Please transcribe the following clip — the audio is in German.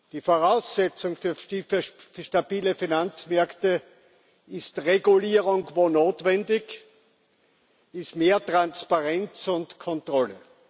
Die Voraussetzung für stabile Finanzmärkte ist Regulierung, wo notwendig, ist mehr Transparenz und Kontrolle.